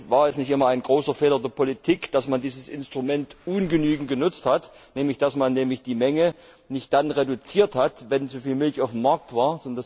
War es nicht immer ein großer Fehler der Politik, dass man dieses Instrument ungenügend genutzt hat, dass man nämlich die Menge nicht dann reduziert hat, wenn zuviel Milch auf dem Markt war?